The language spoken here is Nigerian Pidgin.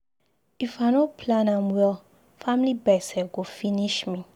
If I no plan am well, family gbese go finish me.